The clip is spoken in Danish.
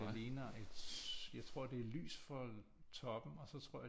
Det ligner et jeg tror det er lys for toppen og så tror jeg